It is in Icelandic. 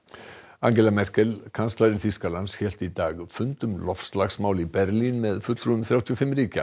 Angela Merkel kanslari Þýskalands hélt í dag fund um loftslagsmál í Berlín með fulltrúum þrjátíu og fimm ríkja